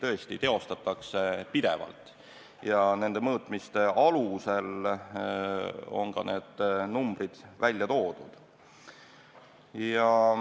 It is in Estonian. Mõõtmisi teostatakse pidevalt ja nende mõõtmiste alusel on ka need numbrid välja toodud.